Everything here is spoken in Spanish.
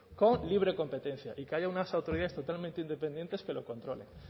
con libre competencia y que haya unas autoridades totalmente independientes que lo controlen